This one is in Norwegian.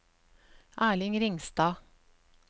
Erling Ringstad